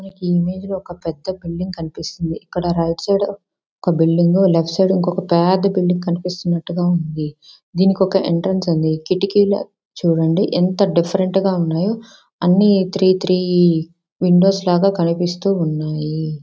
మీకు ఈ ఇమేజ్ లో ఒక పెద్ద బిల్డింగ్ కనిపిస్తుంది ఇక్కడ రైట్ సైడ్ ఒక బిల్డింగ్ లెఫ్ట్ సైడ్ ఇంకొక పెద్ద బిల్డింగ్ కనిపిస్తున్నట్టుగా ఉంది దీనికొక ఎంట్రన్స్ ఉంది కిటికీలు చూడండి ఎంత డిఫరెన్ట్ గా ఉన్నాయో అన్ని త్రి త్రి విండోస్ లాగా కనిపిస్తూ ఉన్నాయి.